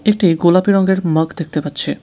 একটি গোলাপী রঙ্গের মাগ দেখতে পাচ্ছি।